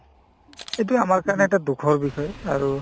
এইটোয়ে আমাৰ কাৰণে এটা দুখৰ বিষয় আৰু